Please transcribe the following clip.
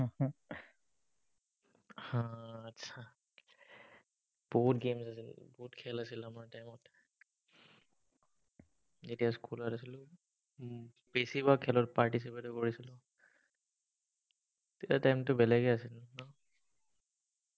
বহুত games আছিলে, বহুত খেল আছিল আমাৰ time ত। যেতিয়া স্কুলত আছিলো, উম বেছিভাগ খেলত participate কৰিছিলো। তেতিয়াৰ time টো বেলেগে আছিলে, ।